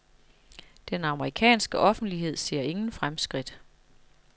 Den amerikanske offentlighed ser ingen fremskridt.